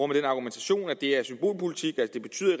den argumentation at det er symbolpolitik